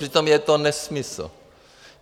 Přitom je to nesmysl.